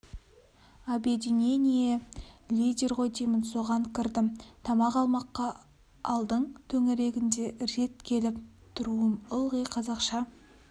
объединение лидер ғой деймін соған кірдім тамақ алмаққа айдың төңірегінде рет келіп тұруым ылғи қазақша